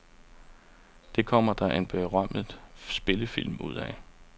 Det kom der en berømmet spillefilm ud af.